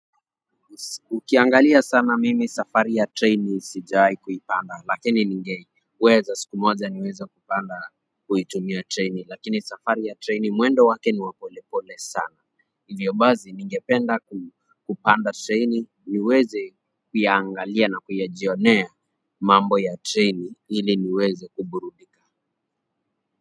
Ukiangalia sana mimi safari ya treni sijawahi kuipanda lakini ningeweza siku moja niweza kupanda kuitumia treni, lakini safari ya treni mwendo wake niwa polepole sana. Hivyo basi ningependa kupanda treni niweze kuyaangalia na kuyajionea mambo ya treni ili niweze kuburudika.